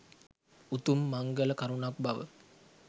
උතුම් මංගල කරුණක් බව